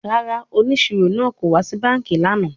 Rara, oniṣiro naa ko wa si banki lana